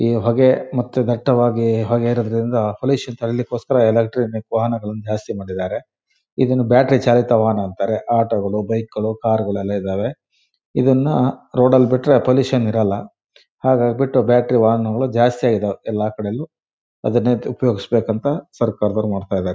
ಈ ಹೊಗೆ ಮತ್ತೆ ದಟ್ಟವಾದ ಹೊಗೆ ಇರುವುದರಿಂದ ಪೊಲ್ಲ್ಯೂಷನ್ ತಡಿಲಿಕೊಸ್ಕರ ಇಲೆಕ್ಟ್ರಾನಿಕ್ ವಾಹನಗಳ್ಳನ್ನು ಜಾಸ್ತಿ ಮಾಡಿದರೆ ಇದನ್ನು ಬ್ಯಾಟ್ರಿ ಚಾಲಿತ ವಾಹನ ಅಂತಾರೆ. ಆಟೋಗಳು ಬೈಕ್ಗಳು ಕಾರ್ಗಳು ಎಲ್ಲ ಇದಾವೆ. ಇದನ್ನ ರೋಡ್ನಲ್ಲಿ ಬಿಟ್ರೆ ಪೊಲ್ಲ್ಯೂಷನ್ ಇರೋಲ್ಲ ಹಾಗಾಗ್ಬಿಟ್ಟು ಬ್ಯಾಟರಿ ವಾಹನಗಳು ಜಾಸ್ತಿ ಆಗಿದಾವೆ ಎಲ್ಲಕಡೆನು ಅದನ್ನೇ ಉಪಯೋಗಿಸಬೇಕಂತ ಸರ್ಕಾರದವರು ಮಾಡ್ತಾ ಇದ್ದಾರೆ.